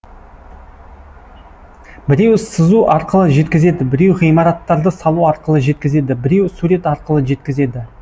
біреу сызу арқылы жеткізеді біреу ғимараттарды салу арқылы жеткізеді біреу сурет арқылы жеткізеді